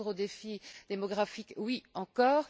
répondre aux défis démographiques, oui encore.